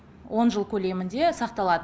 он жыл көлемінде сақталады